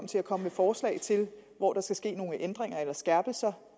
til at komme med forslag til hvor der skal ske nogle ændringer eller skærpelser